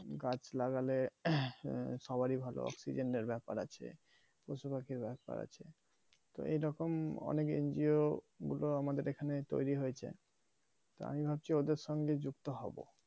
গাছ লাগালে সবার ই ভালো অক্সিজেন এর ব্যাপার আছে পশুপাখির ব্যাপার আছে তো এইরকম অনেক NGO গুলো আমাদের এখানে তৈরি হয়েছে তাই ভাবছি ওদের সঙ্গে যুক্ত হবো